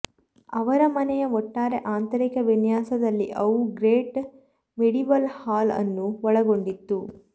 ಅವರ ಮನೆಯ ಒಟ್ಟಾರೆ ಆಂತರಿಕ ವಿನ್ಯಾಸದಲ್ಲಿ ಅವು ಗ್ರೇಟ್ ಮೆಡೀವಲ್ ಹಾಲ್ ಅನ್ನು ಒಳಗೊಂಡಿತ್ತು